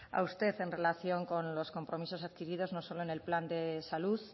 a usted en relación con los compromisos adquiridos no solo en el plan de salud